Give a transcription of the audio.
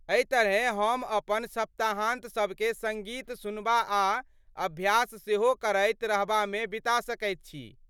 एहि तरहेँ हम अपन सप्ताहान्त सबकेँ सङ्गीत सुनबा आ अभ्यास सेहो करैत रहबामे बिता सकैत छी।